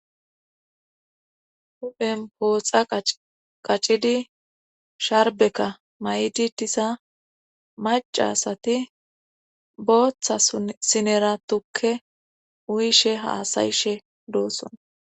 huphen pooxa qaccidi sharbeka may7di disa macasati booththa sinera tukke uyishe haasayishe doosson